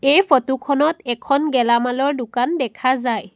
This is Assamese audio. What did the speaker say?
এই ফটো খনত এখন গেলামালৰ দোকান দেখা যায়।